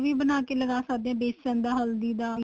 ਵੀ ਬਣਾਕੇ ਲਗਾ ਸਕਦੇ ਹੋ ਵੇਸਨ ਦਾ ਹੱਲਦੀ ਦਾ